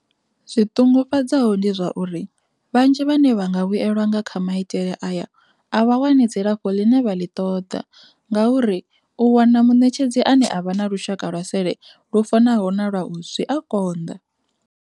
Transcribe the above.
Zwi ṱungufhadzaho ndi zwa uri, vhanzhi vhane vha nga vhuelwa nga kha maitele aya a vha wani dzilafho ḽine vha ḽi ṱoḓa ngauri u wana muṋetshedzi ane a vha na lushaka lwa sele lwu fanaho na lwau zwi a konḓa.